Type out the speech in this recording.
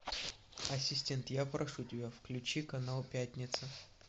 ассистент я прошу тебя включи канал пятница